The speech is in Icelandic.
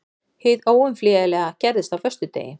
Hið óumflýjanlega gerðist á föstudegi.